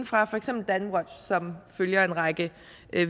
fra for eksempel danwatch som følger en række